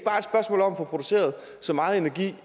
få produceret så meget energi